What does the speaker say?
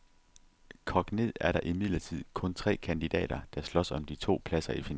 Kogt ned er der imidlertid kun tre kandidater, der slås om de to pladser i finalen.